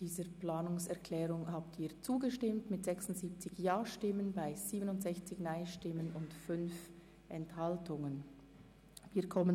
Sie haben diese Planungserklärung mit 76 Ja- zu 67 Nein-Stimmen bei 5 Enthaltungen angenommen.